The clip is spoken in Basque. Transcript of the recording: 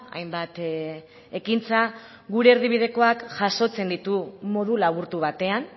hainbat ekintza gure erdibidekoak jasotzen ditu modu laburtu batean